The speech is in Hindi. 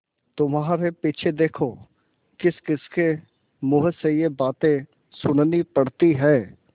तुम्हारे पीछे देखो किसकिसके मुँह से ये बातें सुननी पड़ती हैं